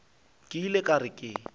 ke ile ka re ke